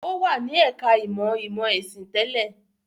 Ó wà ní ẹ̀ka-ìmọ̀ ìmọ̀-ẹ̀sìn tẹ́lẹ̀.